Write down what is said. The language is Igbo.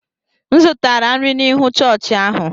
M zụtara nri n’ihu chọọchị ahụ.